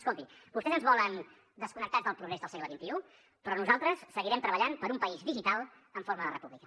escolti vostès ens volen desconnectats del progrés del segle xxi però nosaltres seguirem treballant per un país digital en forma de república